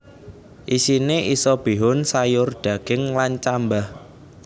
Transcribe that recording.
Isine isa bihun sayur daging lan cambah